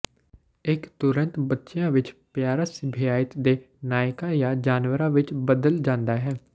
ਇੱਕ ਤੁਰੰਤ ਬੱਚਿਆਂ ਵਿੱਚ ਪਿਆਰਾ ਸਿਭਾਇਤ ਦੇ ਨਾਇਕਾਂ ਜਾਂ ਜਾਨਵਰਾਂ ਵਿੱਚ ਬਦਲ ਜਾਂਦਾ ਹੈ